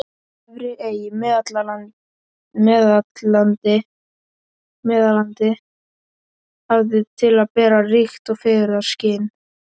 Efri-Ey í Meðallandi hafði til að bera ríkt fegurðarskyn.